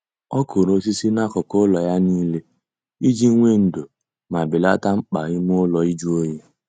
Ọ kụrụ osisi n'akụkụ ụlọ ya niile iji nwee ndo ma belata mkpa ime ụlọ ịjụ oyi